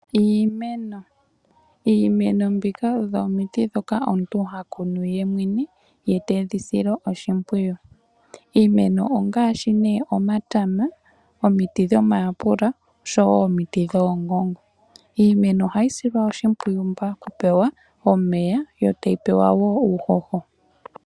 Iimeno, iimeno mbika odho omiti ndhoka omuntu hakunu ye mwene, ye tedhi sile oshimpwiyu. Iimeno ongaashi nee omatama, omiti dhomayapula oshowo omiti dhoongongo. Iimeno ohayi silwa oshimpwiyu pa ku pewa omeya yo tayi pewa wo uuhoho.